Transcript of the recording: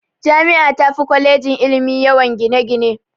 Jami'a tafi kwalejin ilimi yawan gine-gine.